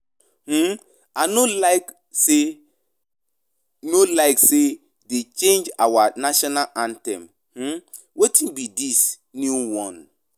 um I no like say no like say dey change our national anthem. um Wetin be dis new one?